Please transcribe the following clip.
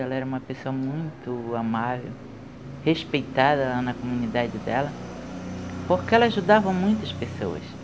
Ela era uma pessoa muito amável, respeitada na comunidade dela, porque ela ajudava muitas pessoas.